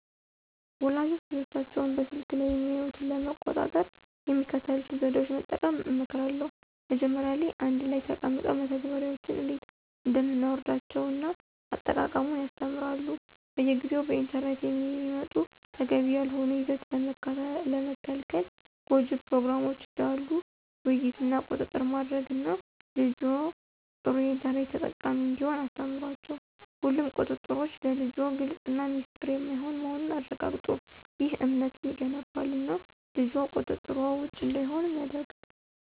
ወላጆች ልጆቻቸው በስልክ ላይ የሚያዩትን ለመቆጣጠር የሚከተሉትን ዘዴዎች መጠቀም እመክራለሁ። መጀመሪያ ላይ አንድ ላይ ተቀምጠው መተግበሪያዎችን እንዴት እንደምናወርዳቸውን እና አጠቃቀሙን ያስተምሩ። በየጊዜው በኢንተርኔት የሚመጡ ተገቢ ያልሆነ ይዘት ለመከልከል ጎጅ ፕሮግራሞችን ዳሉ ውይይት እና ቁጥጥር ማድረግ እና ልጅዎ ጥሩ የኢንተርኔት ተጠቃሚ እንዲሆን አስተምሯቸው። ሁሉም ቁጥጥሮች ለልጅዎ ግልፅ እና ሚስጥር የማይሆን መሆኑን ያረጋግጡ። ይህ እምነትን ይገነባል እና ልጅዎ ቁጥጥር ውጭ እንዳይሆን ያደርጋል።